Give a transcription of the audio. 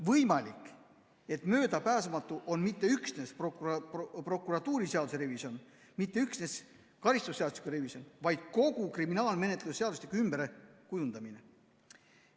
Võimalik, et möödapääsmatu on mitte üksnes prokuratuuriseaduse revisjon, mitte üksnes karistusseadustiku revisjon, vaid kogu kriminaalmenetluse seadustiku ümberkujundamine.